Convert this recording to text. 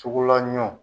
Sugula ɲɔn